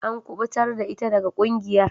An kubutar da ita daga kungiyar.